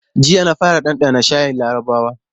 Jiya na fara ɗanɗana shayin larabawa.